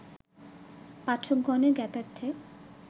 পাঠকগণের জ্ঞাতার্থে